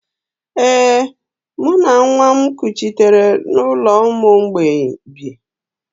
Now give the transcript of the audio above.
Ee, mụ na nwa m kuchitere n’ụlọ ụmụ mgbei bi